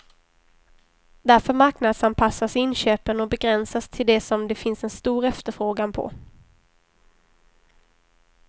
Därför marknadsanpassas inköpen och begränsas till det som det finns en stor efterfrågan på.